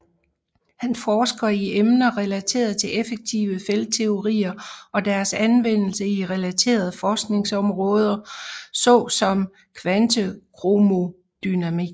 Han forsker i emner relateret til effektive feltteorier og deres anvendelse i relaterede forskningsområdersom såsom kvantekromodynamik